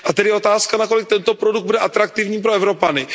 A tedy je otázkou, na kolik tento produkt bude atraktivní pro Evropany.